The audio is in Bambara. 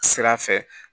Sira fɛ